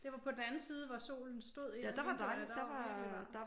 Det var på den anden side hvor solen stod ind af vinduerne. Der var virkelig varmt